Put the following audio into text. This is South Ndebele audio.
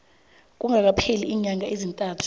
kungakapheli iinyanga ezintathu